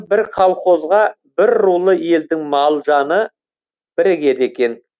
бір колхозға бір рулы елдің мал жаны бірігеді екен